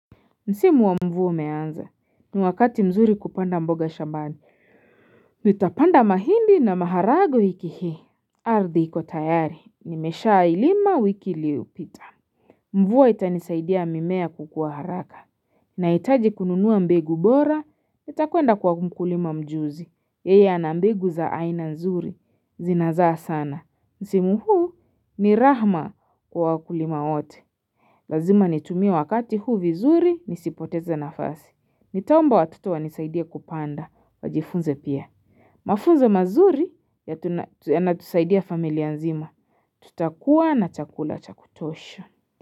Ni msimu wa mvua umeanza, ni wakati mzuri kupanda mboga shambani, nitapanda mahindi na maharagwe wiki hii. Ardhi iko tayari, nimeshailima wiki iliyopita. Mvua itanisaidia mimea kukuwa haraka, nahitaji kununua mbegu bora, nitakwenda kwa mkulima mjuzi, yeye ana mbegu za aina nzuri, zinazaa sana. Msimu huu ni raha kwa wakulima wote. Lazima nitumie wakati huu vizuri nisipoteze nafasi. Nitaomba watoto wanisaidie kupanda, wajifunze pia. Mafunzo mazuri yanatusaidia familia nzima, tutakuwa na chakula cha kutosha.